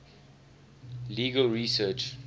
legal research